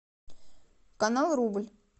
канал рубль